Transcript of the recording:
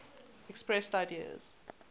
expressed ideas